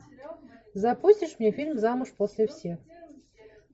запустишь мне фильм замуж после всех